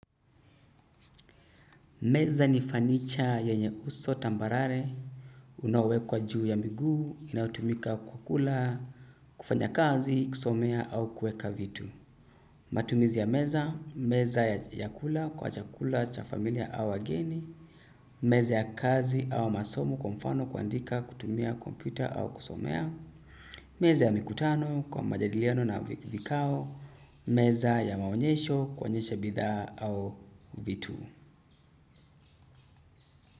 Meza ni fanicha yenye uso tambarare, unaowe kwa juu ya miguu, inayotumika kukula, kufanya kazi, kusomea au kueka vitu. Matumizi ya meza, meza ya kula, kwa chakula, cha familia au wageni, meza ya kazi au masomo kwa mfano kua ndika kutumia kompyuta au kusomea, meza ya mikutano kwa majadiliano na vikao, meza ya maonyesho, kuaonyesha bidhaa au vitu.